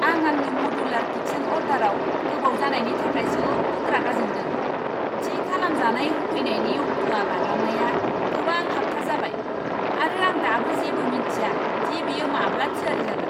आं आंनि मडुलार किचेन अरडाराव गोबाव जानायनि थाखाय जोबोद रागा जोंदों। थि खालामजानाय होफैनायनि अक्ट'आ बारलांनाया गोबां हाबथा जाबाय, आरो आं दाबो जेबो मिन्थिया दि बेयो माब्ला थियारि जागोन।